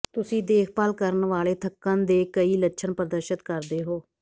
ਤੁਸੀਂ ਦੇਖਭਾਲ ਕਰਨ ਵਾਲੇ ਥੱਕਣ ਦੇ ਕਈ ਲੱਛਣ ਪ੍ਰਦਰਸ਼ਤ ਕਰਦੇ ਹੋ